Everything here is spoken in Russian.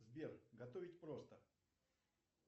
сбер готовить просто